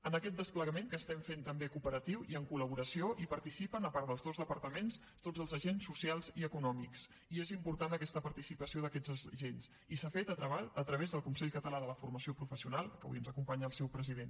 en aquest desplegament que estem fent també cooperatiu i amb col·laboració hi participen a part dels dos departaments tots els agents socials i econòmics i és important aquesta participació d’aquests agents i s’ha fet a través del consell català de la formació professional que avui ens acompanya el seu president